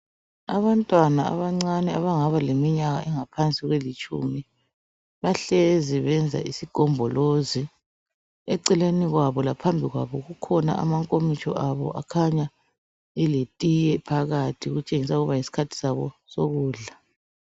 Abantwana abancane abangaba leminyaka engaphansui kwelitshumi bahlezi benze isigombolozi eceleni kwabo laphambili kwabo kukhona amankomitsho abo akhanya eletiye phakathi okutshengisela ukuba yisikhathi sabo sokudla.